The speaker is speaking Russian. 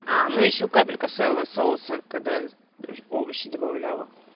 а ну ещё капелька своего соуса когда овощи добавляла